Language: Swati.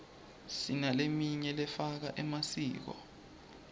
sinaleminy lefaka emasiko